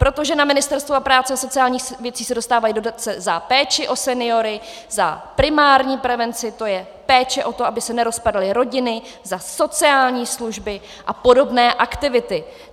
Protože na Ministerstvu práce a sociálních věcí se dostávají dotace za péči o seniory, za primární prevenci, to je péče o to, aby se nerozpadaly rodiny, za sociální služby a podobné aktivity.